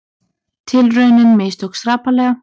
Tilraunin mistókst hrapalega